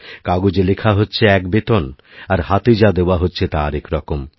কাগজে লেখা হচ্ছে এক বেতন আর হাতে যা দেওয়া হচ্ছে তা আরেক রকম